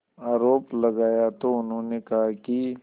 आरोप लगाया तो उन्होंने कहा कि